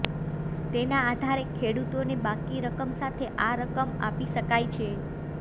તેના આધારે ખેડૂતોને બાકી રકમ સાથે આ રકમ આપી શકાય છે